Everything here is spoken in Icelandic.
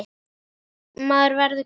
Maður verður gamall og meyr.